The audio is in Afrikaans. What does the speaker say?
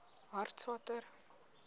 hartswater